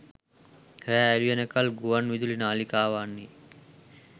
රෑ එළිවෙන කල් ගුවන් විදුලි නාළිකාවන්හි